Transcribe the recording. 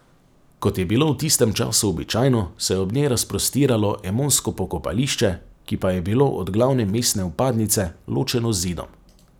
Kot je bilo v tistem času običajno, se je ob njej razprostiralo emonsko pokopališče, ki pa je bilo od glavne mestne vpadnice ločeno z zidom.